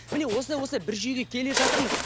міне осылай осылай бір жүйеге келе жатырмыз